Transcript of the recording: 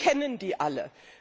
Sie kennen die alle.